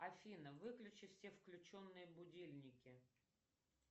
афина выключи все включенные будильники